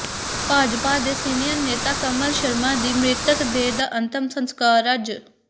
ਭਾਜਪਾ ਦੇ ਸੀਨੀਅਰ ਨੇਤਾ ਕਮਲ ਸ਼ਰਮਾ ਦੀ ਮ੍ਰਿਤਕ ਦੇਹ ਦਾ ਅੰਤਿਮ ਸੰਸਕਾਰ ਅੱਜ